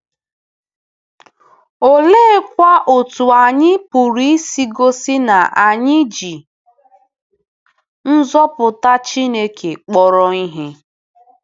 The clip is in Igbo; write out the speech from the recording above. Oleekwa otú anyị pụrụ isi gosi na anyị ji nzọpụta Chineke kpọrọ ihe?